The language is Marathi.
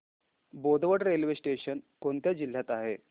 बोदवड रेल्वे स्टेशन कोणत्या जिल्ह्यात आहे